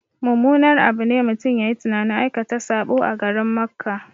Mummunar abu ne mutum yayi tunanin aikata saɓo a garin Makka